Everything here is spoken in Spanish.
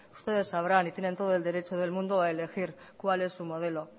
ustedes sabrán y tienen todo el derecho del mundo a elegir cuál es su modelo